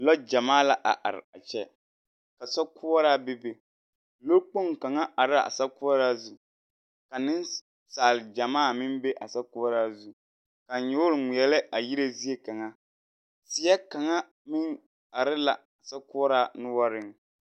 Lɔɔ gyamaa la a araa kyɛ, ka sokoɔraa be be. Lɔɔkpoŋ kaŋa araa sɔkoɔraa zu. Ka nensaal gyamaa meŋ are a sokoɔraa zu. Ka nyoore ŋmeɛlɛ a yire zie kaŋa. Teɛ kaŋa meŋ are laa sokoɔraa noɔreŋ.